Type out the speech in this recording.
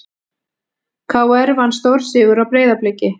KR vann stórsigur á Breiðabliki